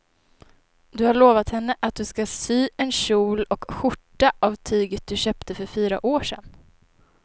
Du har lovat henne att du ska sy en kjol och skjorta av tyget du köpte för fyra år sedan.